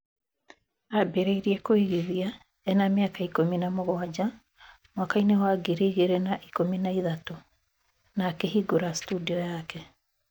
Ambĩrĩirie kũigithia ena mĩaka ikũmi na mũgwanja mwaka-inĩ wa ngiri igĩrĩ na ikũmi na ithatũ, na akĩhingura studio yake